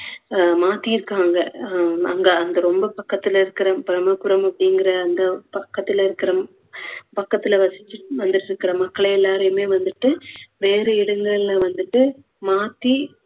அஹ் மாத்திருக்காங்க ஹம் அங்க அங்க ரொம்ப பக்கத்துல இருக்குற பிரம்மபுரம் அப்படிங்குற அந்த பக்கத்துல இருக்குற பக்கத்துல வசிச்சுட்டு வந்துட்டுருக்குற மக்களாயெல்லாரையுமே வந்துட்டு வேற இடங்களில வந்துட்டு மாத்தி